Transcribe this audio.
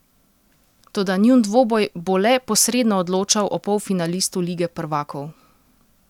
Toda njun dvoboj bo le posredno odločal o polfinalistu lige prvakov.